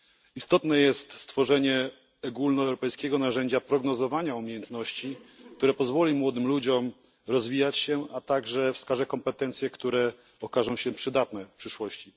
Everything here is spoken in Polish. Istotne jest stworzenie ogólnoeuropejskiego narzędzia prognozowania umiejętności, które pozwoli młodym ludziom rozwijać się, a także wskaże kompetencje, które okażą się przydatne w przyszłości.